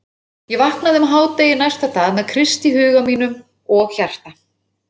Ég vaknaði um hádegi næsta dag með Krist í huga mínum og hjarta.